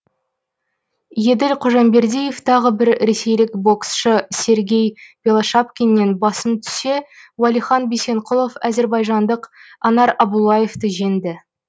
еділ қожамбердиев тағы бір ресейлік боксшы сергей белошапкиннен басым түссе уәлихан бисенқұлов әзірбайжандық анар абуллаевты жеңді